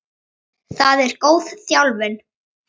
Hvað er góð þjálfun?